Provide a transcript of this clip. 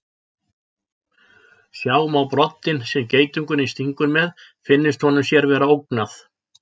Sjá má broddinn sem geitungurinn stingur með finnist honum sér vera ógnað.